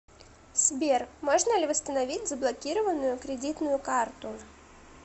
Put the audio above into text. сбер можно ли восстановить заблокированную кредитную карту